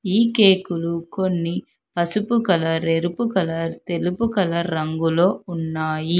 ఈ కేకులు కొన్ని పసుపు కలర్ ఎరుపు కలర్ తెలుపు కలర్ రంగులో ఉన్నాయి.